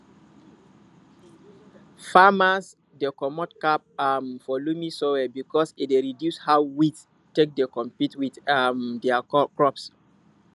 farmers dey comot cap um for loamy soil because e dey reduce how weed take dey compete with um dia crops